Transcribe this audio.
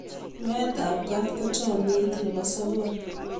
nyowet ab kat ko chamyet nebo sobon